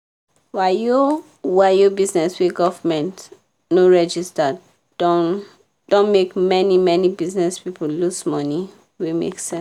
wayo-wayo bizness wey govment nor register don don make many-many bizness people loss money wey make sense.